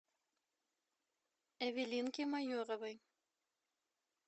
эвелинки майоровой